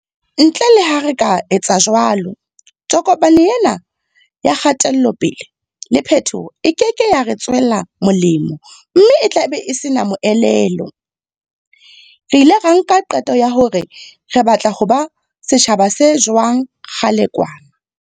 Ntle le ha re ka etsa jwalo, tokomane ena ya kgatelope-le le phetoho e keke ya re tswela molemo mme e tlabe e sena le moelelo. Re ile ra nka qeto ya hore re batla ho ba setjhaba se jwang kgale kwana.